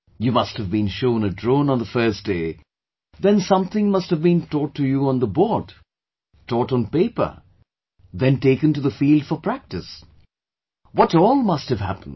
You must have been shown a drone on the first day... then something must have been taught to you on the board; taught on paper, then taken to the field for practice... what all must have happened